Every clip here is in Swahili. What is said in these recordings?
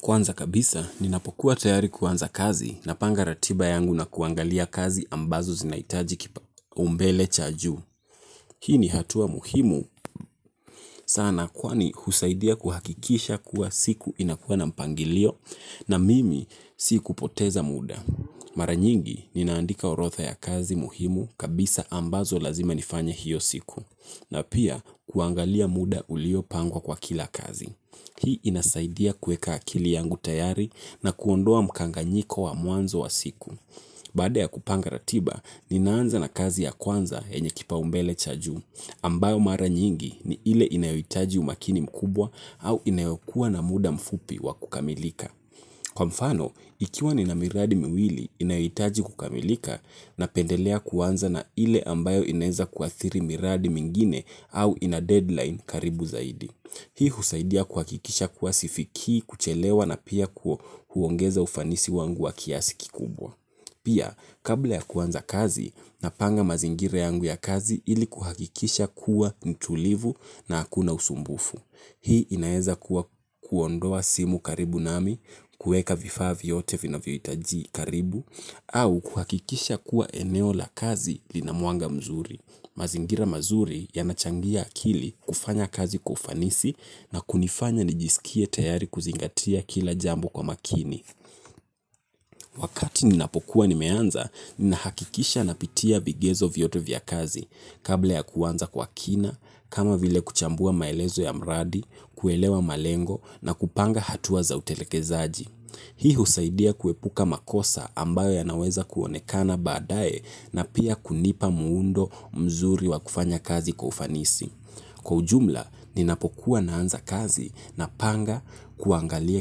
Kwanza kabisa, ninapokuwa tayari kuanza kazi napanga ratiba yangu na kuangalia kazi ambazo zinahitaji kipaumbele cha juu. Hii ni hatua muhimu sana kwani husaidia kuhakikisha kuwa siku inakuwa na mpangilio na mimi sikupoteza muda. Mara nyingi, ninaandika orodha ya kazi muhimu kabisa ambazo lazima nifanye hiyo siku na pia kuangalia muda uliopangwa kwa kila kazi. Hii inasaidia kuweka akili yangu tayari na kuondoa mkanganyiko wa mwanzo wa siku. Baada ya kupanga ratiba, ninaanza na kazi ya kwanza yenye kipaumbele cha juu, ambayo mara nyingi ni ile inayohitaji umakini mkubwa au inayokuwa na muda mfupi wa kukamilika. Kwa mfano, ikiwa ni na miradi miwili inayoitaji kukamilika na pendelea kuwanza na ile ambayo ineza kuathiri miradi mingine au ina deadline karibu zaidi. Hii husaidia kuhakikisha kuwa sifikii, kuchelewa na pia huongeza ufanisi wangu wa kiasi kikubwa. Pia kabla ya kuanza kazi napanga mazingira yangu ya kazi ili kuhakikisha kuwa mtulivu na hakuna usumbufu. Hii inaeza kuwa kuondoa simu karibu nami, kuweka vifaa vyote vinavyo hitaji karibu, au kuhakikisha kuwa eneo la kazi lina mwanga mzuri. Mazingira mazuri yanachangia akili kufanya kazi kwa ufanisi na kunifanya nijisikie tayari kuzingatia kila jambo kwa makini. Wakati ninapokuwa nimeanza, ninahakikisha napitia vigezo vyote vya kazi. Kabla ya kuanza kwa kina, kama vile kuchambua maelezo ya mradi, kuelewa malengo na kupanga hatua za utelekezaji. Hii husaidia kuepuka makosa ambayo yanaweza kuonekana baadae na pia kunipa muundo mzuri wa kufanya kazi kwa ufanisi. Kwa ujumla ninapokuwa ninaanza kazi napanga kuangalia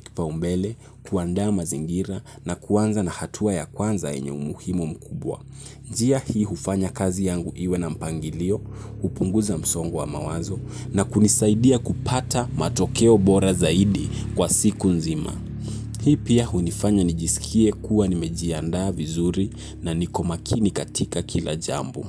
kipaumbele, kuandaa mazingira na kuanza na hatua ya kwanza yenye umuhimu mkubwa. Njia hii hufanya kazi yangu iwe na mpangilio, hupunguza msongo wa mawazo na kunisaidia kupata matokeo bora zaidi kwa siku nzima. Hii pia hunifanya nijisikie kuwa nimejiandaa vizuri na niko makini katika kila jambo.